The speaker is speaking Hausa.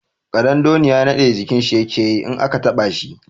Ƙadandoniya naɗe jikin shi yake yi in aka taɓa shi.